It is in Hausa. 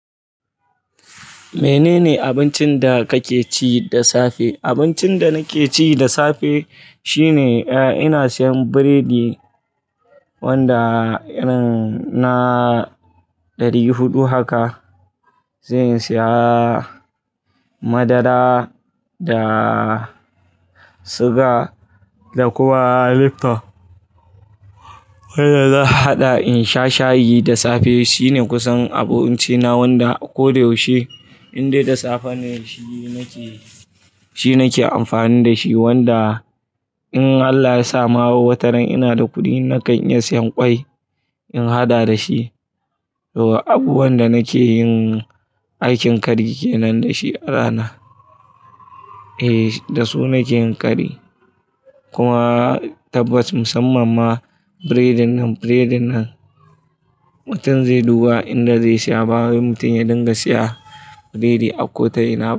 Menene abincin da kake ci da safe? Abincin da nake ci da safe shine, eh, ina siyan biredi wanda irin na ɗari huɗu haka. Zan siya madara da suga da kuma Lifton. Wanda zan haɗa in sha shayi da safe. Shine kusan abinci na wanda ko da yaushe indai da safe ne shi nake, shi nake amfani da shi. Wanda in Allah ya sa ma wataran ina da kuɗi nakan iya siyan kwai in haɗa da shi. To abubuwan da nake yin aikin kari kenan da shi a rana. Eh, da su nake yin kari. Kuma tabbas musamman ma biredin nan, biredin nan mutum zai duba inda zai siya. Ba wai mutum ya dinga siya biredi a kota'ina ba.